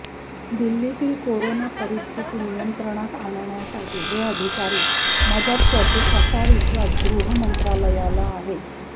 दिल्लीतील कोरोना परिस्थिती नियंत्रणात आणण्यासाठी हे अधिकारी मदत करतील असा विश्वास गृह मंत्रालयाला आहे